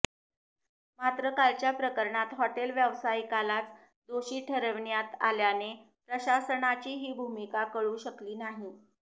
मात्र कालच्या प्रकरणात हॉटेल व्यावसायिकालाच दोषी ठरविण्यात आल्याने प्रशासनाची ही भूमिका कळू शकली नाही